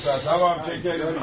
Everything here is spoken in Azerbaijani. Tamam usta, tamam çəkərik.